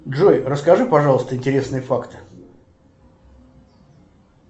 джой расскажи пожалуйста интересные факты